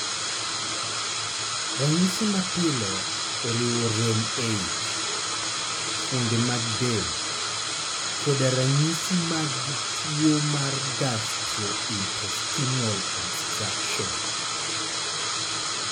Ranyisi mapile oriwo rem e ich, fuonde mag del, koda ranyisi mag tuwo mar gastrointestinal obstruction.